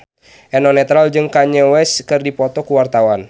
Eno Netral jeung Kanye West keur dipoto ku wartawan